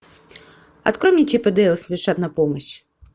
открой мне чип и дейл спешат на помощь